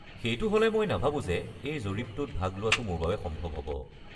সেইটো হ'লে মই নাভাবো যে এই জৰীপটোত ভাগ লোৱাটো মোৰ বাবে সম্ভৱ হ'ব।